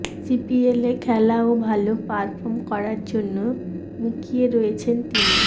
সিপিএলে খেলা ও ভাল পারফর্ম করার জন্য মুখিয়ে রয়েছেন তিনি